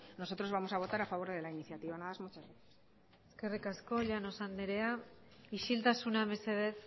nosotros vamos a votar a favor de la iniciativa nada más muchas gracias eskerrik asko llanos andrea isiltasuna mesedez